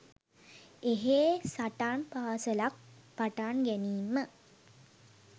එහෙ සටන් පාසලක් පටන් ගැනීම